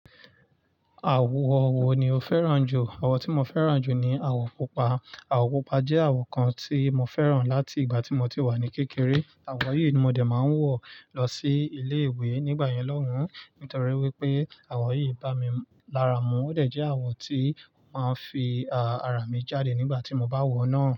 Àwọ̀ wo ni o fẹ́ràn jù? Àwọ̀ tí mo fẹ́ràn jù ni àwọ̀ pupa. Àwọ̀ pupa jẹ́ àwọ̀ kan tí mo fẹ́ràn láti ìgbà tí mo ti wà ní kékeré. Àwọ̀ yìí ni mo dẹ̀ máa ń wọ̀ lọ sí ilé ìwé nígbà yẹn lọ́hùn, nítorí wípé àwọ̀ yìí bá mi lára mú, ó dẹ̀ jẹ́ àwọ̀ tí máa ń fi àrà mi jáde nígbà tí mo bá wọ̀ọ́ náà.